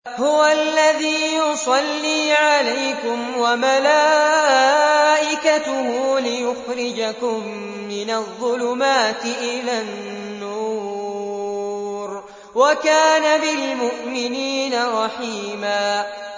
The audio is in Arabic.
هُوَ الَّذِي يُصَلِّي عَلَيْكُمْ وَمَلَائِكَتُهُ لِيُخْرِجَكُم مِّنَ الظُّلُمَاتِ إِلَى النُّورِ ۚ وَكَانَ بِالْمُؤْمِنِينَ رَحِيمًا